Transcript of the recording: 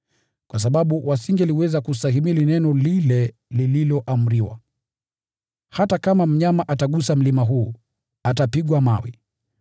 kwa sababu hawangeweza kustahimili neno lile lililoamriwa: “Hata kama mnyama atagusa mlima huu, atapigwa mawe.”